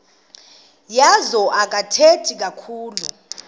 wazo akathethi kakhulu